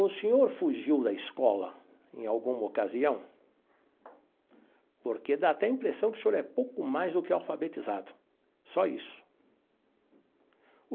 O senhor fugiu da escola em alguma ocasião porque dá até impressão que o senhor é pouco mais do que alfabetizado, só isso.